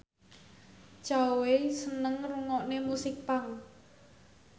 Zhao Wei seneng ngrungokne musik punk